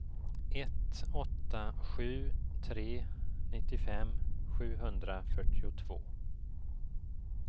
ett åtta sju tre nittiofem sjuhundrafyrtiotvå